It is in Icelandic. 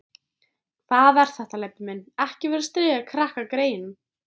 Hvað er þetta, Leibbi minn. ekki vera að stríða krakkagreyjunum!